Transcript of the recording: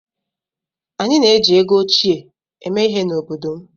Anyị na-eji ego óchiè eme ihe n'obodo m.